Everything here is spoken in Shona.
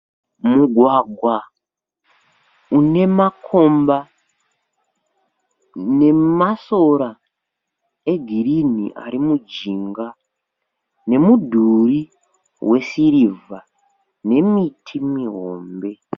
Mugwagwa une makomba nemasora egirinhi ari mujinga nemudhuri wesirivha nemiti mihombe.